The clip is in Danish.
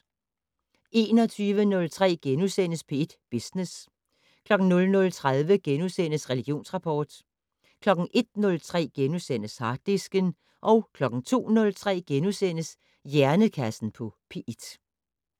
21:03: P1 Business * 00:30: Religionsrapport * 01:03: Harddisken * 02:03: Hjernekassen på P1 *